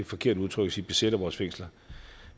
forkert udtryk at sige besætter vores fængsler